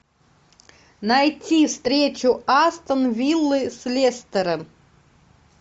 найти встречу астон виллы с лестером